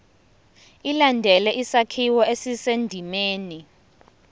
ilandele isakhiwo esisendimeni